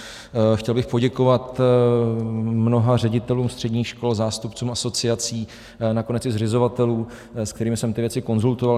Chtěl bych poděkovat mnoha ředitelům středních škol, zástupcům asociací, nakonec i zřizovatelům, s kterými jsem ty věci konzultoval.